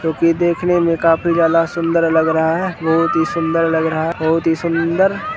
जो की देखने में काफी ज्यादा सुंदर लग रहा है बहुत ही सुंदर लग रहा है बहुत ही सुंदर --